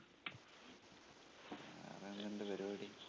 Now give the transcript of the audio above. ഇന്നെന്ത് പരിപാടി?